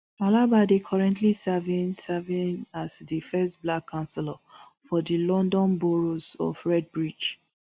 alaba dey currently serving serving as di first black councillor for di london borough of redbridge